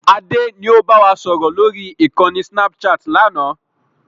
Adé ni ó bá wa sọ̀rọ̀ lórí ìkànnì snapchat láánaà